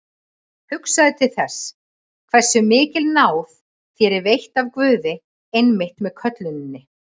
Hugsaðu til þess, hversu mikil náð þér er veitt af Guði einmitt með kölluninni.